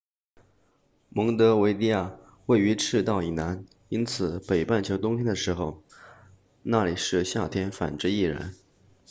蒙得维的亚位于赤道以南因此北半球冬天的时候那里是夏天反之亦然